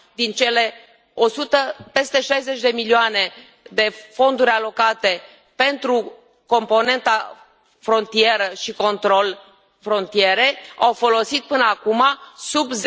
Din cele peste 60 de milioane, fonduri alocate pentru componenta frontieră și control frontiere, au folosit până acuma sub